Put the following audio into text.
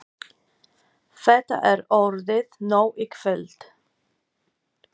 Þetta er orðið nóg í kvöld.